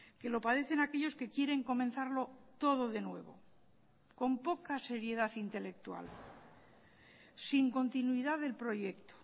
que lo padecen aquellos que quieren comenzarlo todo de nuevo con poca seriedad intelectual sin continuidad del proyecto